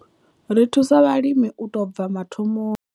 Ri thusa vhalimi u tou bva mathomoni.